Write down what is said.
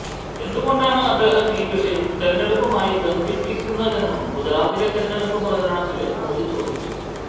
എന്ത് കൊണ്ടാണ് അദ്ദേഹം ഈ വിഷയം തിരഞ്ഞെടുപ്പുമായി ബന്ധിപ്പിക്കുന്നതെന്നും ഗുജറാത്തിലെ തിരഞ്ഞെടുപ്പ് പ്രചരണത്തില് മോദി ചോദിച്ചു